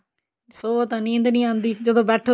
ਸੋਵੋ ਤਾਂ ਨੀਂਦ ਨੀ ਆਉਂਦੀ ਜਦੋ ਬੈਠੋ